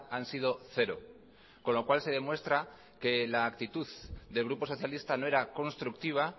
han sido cero con lo cual se demuestra que la actitud del grupo socialista no era constructiva